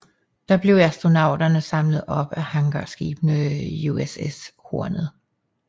Der blev astronauterne samlet op af hangarskibet USS Hornet